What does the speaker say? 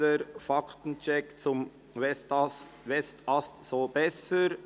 Mangelhafter Faktencheck zum ‹Westast so besser›».